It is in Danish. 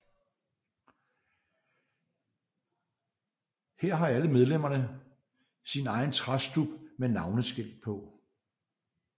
Her har alle medlemmer sin egen træstub med navneskilt på